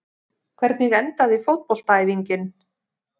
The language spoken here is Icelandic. hvernig endaði fótboltaæfingin